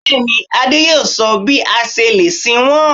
Bẹ́ẹ̀ni, Adé yóò sọ bí a ṣe lè sin wọ́n